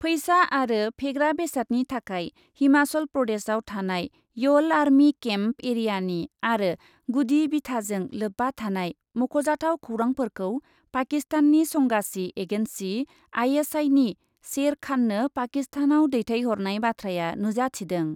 फैसा आरो फेग्रा बेसादनि थाखाय हिमाचल प्रदेशाव थानाय यल आर्मि केम्प एरियानि आरो गुदि बिथाजों लोब्बा थानाय मख'जाथाव खौरांफोरखौ पाकिस्ताननि संगासि एगेन्सि आइएसआइनि शेर खाननो पाकिस्तानाव दैथायहरनाय बाथ्राया नुजाथिदों।